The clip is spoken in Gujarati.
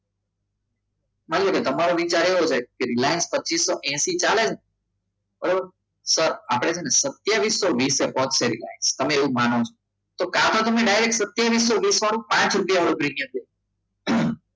હવે તમારે વિચાર એવો છે કે રિલાયન્સ પચિસો હેસિ ચાલે છે બરોબર સર આપણે છે ને સત્યવિસો વિસ વિશે પહોંચ્યો ત્યારે તમે માનો છો કાં તો તમે સતિયવિસો વિસ વાળો પાંચ રૂપિયાનો પ્રીમિયમ